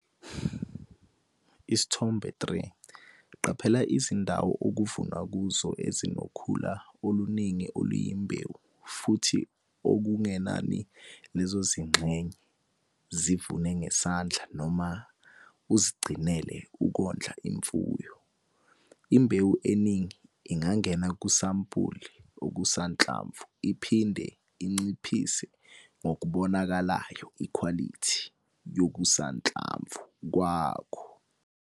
Isithombe 3- Qaphela izindawo okuvunwa kuzo ezinokhula oluningi oluyimbewu futhi okungenani lezo zingxenye zivune ngesandla noma uzigcinele ukondla imfuyo. Imbewu eningi ingangena kumasampuli okusanhlamvu iphinde inciphise ngokubonakalayo ikhwalithi yokusanhlamvu kwakho.